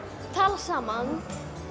talar saman